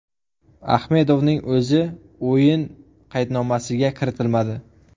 Ahmedovning o‘zi o‘yin qaydnomasiga kiritilmadi.